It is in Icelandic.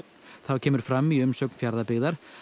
þá kemur fram í umsögn Fjarðabyggðar